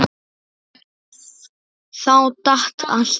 Þá datt allt niður.